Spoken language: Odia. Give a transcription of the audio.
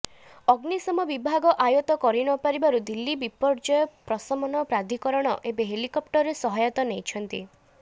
ଅଗ୍ନିଶମ ବିଭାଗ ଆୟତ୍ତ କରିନପରିବାରୁ ଦିଲ୍ଲୀ ବିପର୍ଯୟ ପ୍ରଶମନ ପ୍ରାଧିକରଣ ଏବେ ହେଲିକପ୍ଟରର ସହାୟତା ନେଇଛନ୍ତି